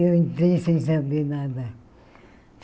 Eu entrei sem saber nada.